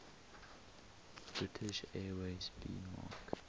british airways 'speedmarque